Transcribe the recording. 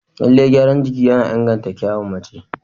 Lallai gyaran jiki yana inganta kyawun mace.